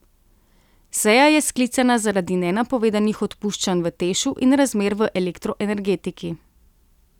Seja je sklicana zaradi nenapovedanih odpuščanj v Tešu in razmer v elektroenergetiki.